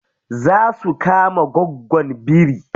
Za su kama goggon biri.